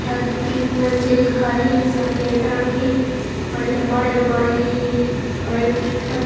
दु तीन मंजिल घर हे सफेद रंग हे बड़िया बड़े बड़े हे वही तीर ह--